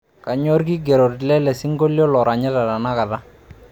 kanyoo ilkigerot lele sinkolio loranyita tenakata